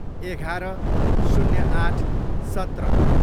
एघार, शून्य आठ, सत्र